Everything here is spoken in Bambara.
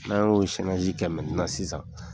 N'a y'o kɛ sisan